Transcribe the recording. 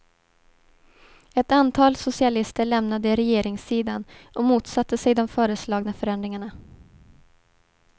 Ett antal socialister lämnade regeringssidan och motsatte sig de föreslagna förändringarna.